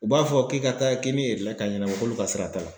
U b'a fɔ k'i ka taa k'i ni ka ɲɛnabɔ k'olu ka sira t'a la.